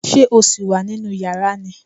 Ṣé o sì wà nínú yàrá ni?